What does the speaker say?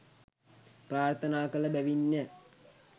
ප්‍රාර්ථනා කළ බැවින්ය.